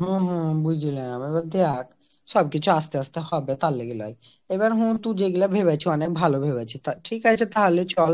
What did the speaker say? হম হম বুঝলাম সবকিছু আস্তে আস্তে হবে তার লগে নয় আবার তুই যেগুলো ভেবেছিস অনেক ভালো ভেবেছিস ঠিক আছে তাহলে চল